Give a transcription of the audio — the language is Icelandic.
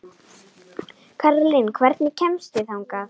Kaðlín, hvernig kemst ég þangað?